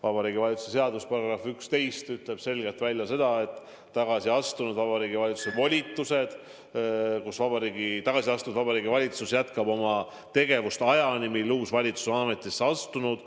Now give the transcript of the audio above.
Vabariigi Valitsuse seaduse § 11 ütleb tagasiastunud Vabariigi Valitsuse volituste kohta selgelt välja, et tagasiastunud Vabariigi Valitsus jätkab oma tegevust ajani, mil uus valitsus on ametisse astunud.